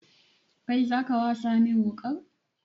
Kai zaka wasa min wuƙar?